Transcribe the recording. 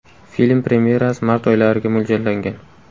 Film premyerasi mart oylariga mo‘ljallangan.